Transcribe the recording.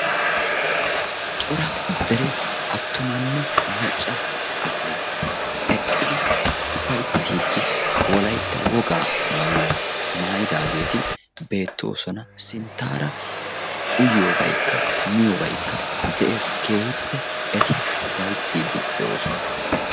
Cora dere aattumanne macca asay eqqidi ufayittiiddi wolayitta wogaa maayuwa mayidaageeti beettoosona. Sinttaara uyiyobaykka miyobaykka de'ees. Keehippe eti ufayittiiddi de'oosona.